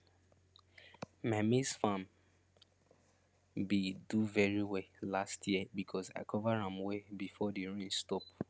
my maize farm been do very well last year because i cover am well before the rain stop